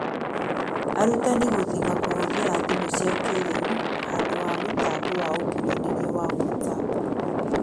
Arutani gũthing'a kũhũthĩra thimũ cia kĩĩrĩu, handũ wa mĩtambo ya ũkinyanĩria wa WhatsApp